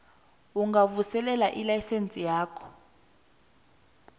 ungavuselela ilayisense yakho